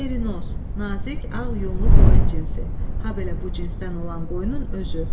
Merinos, nazik ağ yunlu qoyun cinsi, habelə bu cinsdən olan qoyunun özü.